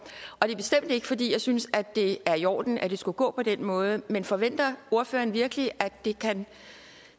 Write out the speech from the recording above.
og det er bestemt ikke fordi jeg synes det er i orden at det skulle gå på den måde men forventer ordføreren virkelig at det kan